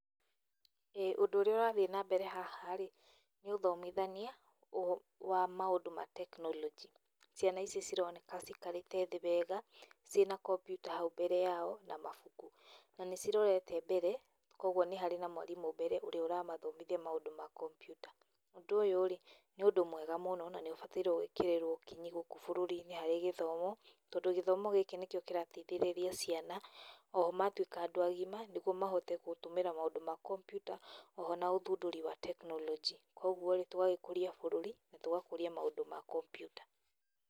ĩĩ, ũndũ ũrĩa ũrathiĩ na mbere haha rĩ, nĩ ũthomithania wa maũndũ ma tekinoronjĩ. Ciana ici cironeka cikarĩte thĩ wega, ciĩ na computer hau mbere wao na mabuku, na nĩcirorete mbere koguo nĩ harĩ na mwarimũ mbere ũrĩa ũramathomithia maũndũ ma computer. Ũndũ ũyũ-rĩ, nĩ ũndũ mwega mũno na nĩũbataire gwĩkĩrĩrwo kinyi gũkũ bũrũri-inĩ harĩ gĩthomo, tondũ gĩthomo gĩkĩ nĩkĩo kĩrateithĩrĩria ciana oho matuĩka andũ agima nĩguo mahote gũtũmĩra maũndũ ma computer oho na ũthundũri wa tekinoronjĩ. Koguo-rĩ, tũgagĩkũria bũrũri na tugakũria maũndũ ma computer.